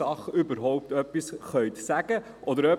Ich wünsche Ihnen einen guten Appetit.